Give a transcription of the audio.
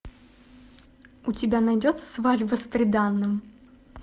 у тебя найдется свадьба с приданным